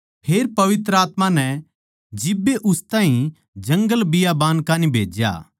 फेर पवित्र आत्मा नै जिब्बे उस ताहीं जंगल बियाबान कान्ही भेज्या